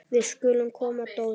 Við skulum koma Dóri!